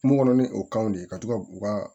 Kungo kɔnɔ ni o kanw de ye ka to ka u ka